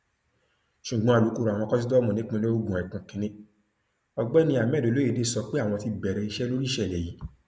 ṣùgbọn alūkkoro àwọn kòsítọọmù nípìnlẹ ogun ẹkùn kìnínní ọgbẹni hammed olóyédè sọ pé àwọn ti bẹrẹ iṣẹ lórí ìṣẹlẹ yìí